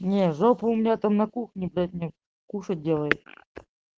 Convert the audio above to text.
не жопа у меня там на кухне кушать делает